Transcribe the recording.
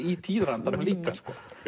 í tíðarandanum líka